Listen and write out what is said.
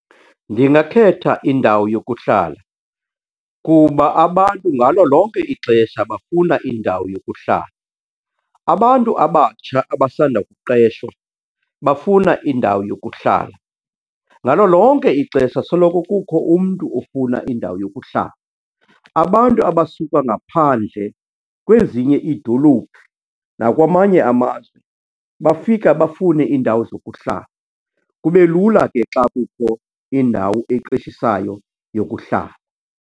Ndingakhetha indawo yokuhlala kuba abantu ngalo lonke ixesha bafuna indawo yokuhlala. Abantu abatsha abasanda kuqeshwa bafuna indawo yokuhlala, ngalo lonke ixesha soloko kukho umntu ofuna indawo yokuhlala. Abantu abasuka ngaphandle kwezinye iidolophu nakwamanye amazwe bafika bafune iindawo zokuhlala, kube lula ke xa kukho indawo eqeshisayo yokuhlala.